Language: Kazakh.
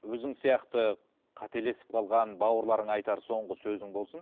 өзің сияқты қателесіп қалған бауырларыңа айтар соңғы сөзің болсын